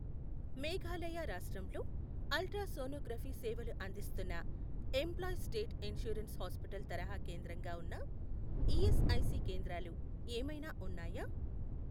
మేఘాలయ రాష్ట్రంలో ultra sonography సేవలు అందిస్తున్న ఎంప్లాయీస్ స్టేట్ ఇన్షూరెన్స్ హాస్పిటల్ తరహా కేంద్రంగా ఉన్న ఈఎస్ఐసి కేంద్రాలు ఏమైనా ఉన్నాయా?